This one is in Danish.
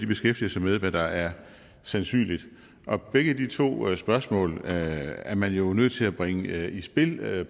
beskæftiger sig med hvad der er sandsynligt og begge de to spørgsmål er man jo nødt til at bringe i spil